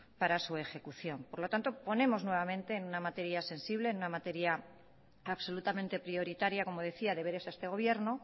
para su ejecución por lo tanto ponemos nuevamente en una materia sensible en una materia absolutamente prioritaria como decía deberes a este gobierno